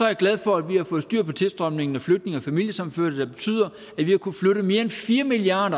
er glad for at vi har fået styr på tilstrømningen af flygtninge og familiesammenførte der betyder at vi har kunnet flytte mere end fire milliard